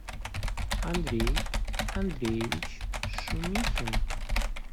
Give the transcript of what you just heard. андрей андреевич шумихин